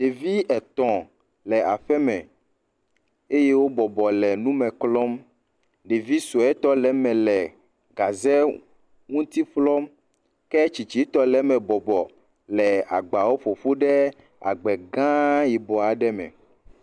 Ɖevi etɔ̃ le aƒe me eye wo bɔbɔbɔ le nume klɔm. Ɖevi sue tɔ le eme le gaze ŋuti klɔm ke tsitsitɔ le eme bɔbɔ le agbawo ƒoƒu ɖe agba gã yibɔ aɖe me.